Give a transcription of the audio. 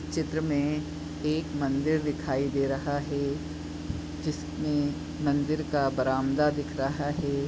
चित्र में एक मंदिर दिखाई दे रहा है जिसमें मंदिर का बरामदा दिख रहा है।